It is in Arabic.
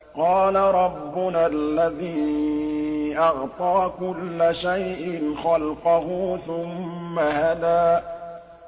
قَالَ رَبُّنَا الَّذِي أَعْطَىٰ كُلَّ شَيْءٍ خَلْقَهُ ثُمَّ هَدَىٰ